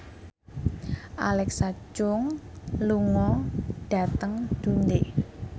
Alexa Chung lunga dhateng Dundee